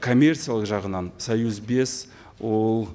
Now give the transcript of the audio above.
коммерциялық жағынан союз бес ол